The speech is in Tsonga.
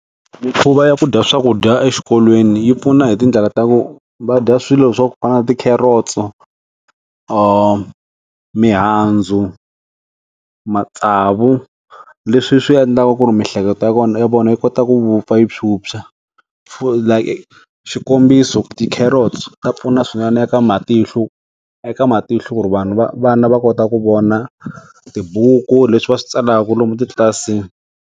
Mikhuva ya ku dya swakudya exikolweni yi pfuna hi tindlela ta ku va dya swilo swa ku kala ti-carrots, mihandzu, matsavu leswi swi endlaka ku ri miehleketo ya kona ya vona yi kota ku wupfa yi tshwutshwa like xikombiso ti-carrots ta pfuna swinene eka matihlu eka matihlu ku ri vanhu va vana va kota ku vona tibuku leswi va swi tsalaku lomu titlilasini.